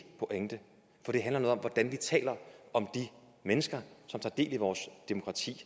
pointe for det handler noget om hvordan vi taler om de mennesker som tager del i vores demokrati